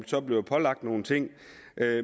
så bliver pålagt nogle ting